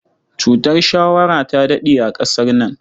Cutar shawara ta daɗe a ƙasar nan.